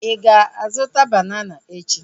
Ị ga-azụta banana echi?